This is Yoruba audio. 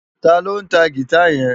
Táló ntá gitá yèn